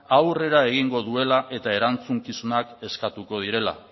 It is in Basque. aurrera egingo duela eta erantzukizunak eskatuko direla